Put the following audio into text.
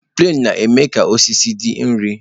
Plenu na-eme ka osisi dị ire